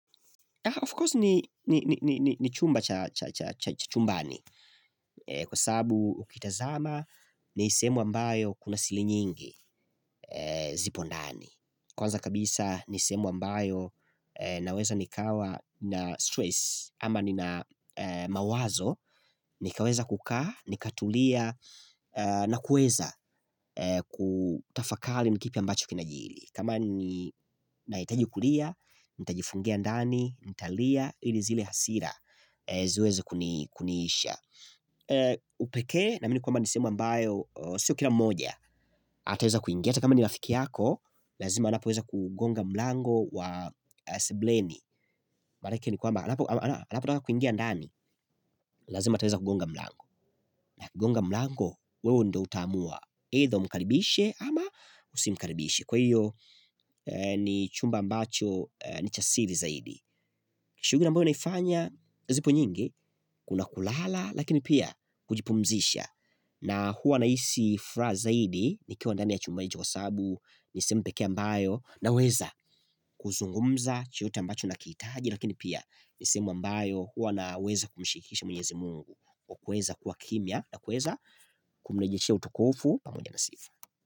Of course ni chumba cha chumbani. Kwa sababu ukitazama ni sehemu ambayo kuna siri nyingi zipo ndani. Kwanza kabisa ni sehemu ambayo naweza nikawa na stress ama nina mawazo nikaweza kukaa, nikatulia na kuweza kutafakari ni kipi ambacho kinajiri. Kama ni nahitaji kulia, nitajifungia ndani nitalia ili zile hasira ziweze kuniisha Upekee, naamini kwamba ni sehemu ambayo sio kila mmoja ataweza kuingia hata kama ni rafiki yako Lazima anapoweza kuugonga mlango wa sebuleni Manake ni kwamba anapotaka kuingia ndani Lazima ataweza kugonga mlango. Akigonga mlango wewe ndo utaamua either umkaribishe ama usimkaribishe. Kwa hiyo ni chumba ambacho ni cha siri zaidi. Shughuli ambayo naifanya zipo nyingi Kuna kulala lakini pia kujipumzisha na huwa nahisi furaha zaidi nikiwa ndani ya chumba hicho kwa sababu ni sehemu pekee ambayo naweza kuzungumza chochote ambacho nakitaji lakini pia sehemu ambayo huwa naweza kumshirikisha mwenyezi Mungu kwa kuweza kuwa kimya na kuweza kumrejeshea utukufu pamoja na sifa.